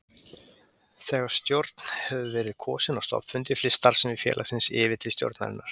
Þegar stjórn hefur verið kosin á stofnfundi flyst starfsemi félagsins yfir til stjórnarinnar.